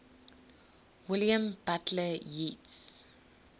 william butler yeats